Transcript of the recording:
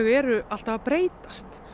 eru alltaf að breytast